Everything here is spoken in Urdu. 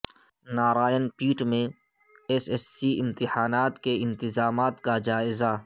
نارائن پیٹ میں ایس ایس سی امتحانات کے انتظامات کا جائزہ